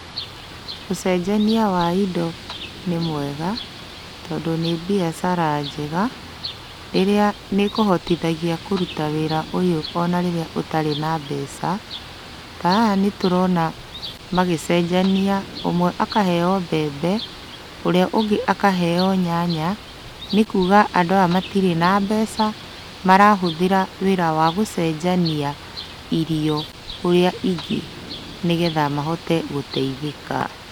Ũcenjania wa indo nĩ mwega tondũ nĩ mbiacara njega, ĩrĩa nĩkũhotithagia kũruta wĩra ũyũ ona rĩrĩa ũtarĩ na mbeca. Ta haha nĩtũrona magĩcenjania, ũmwe akaheo mbembe, ũrĩa ũngĩ akaheo nyanya, nĩkuga andũ aya matirĩ na mbeca, marahũthĩra wĩra wa gũcenjania irio ũrĩa ingĩ nĩgetha mahote gũteithĩka.